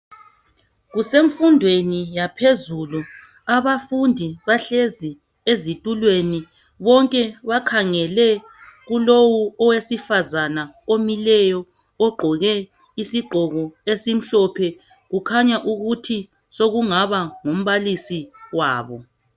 Kusemfundweni yaphezulu abafundi bahlezi ezitulweni bonke bakhangele kulowo owesifazana omileyo ogqoke isigqoko esimhlophe kukhanya ukuthi sokungaba ngu mbalisi wabo.